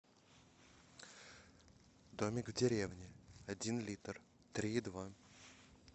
домик в деревне один литр три и два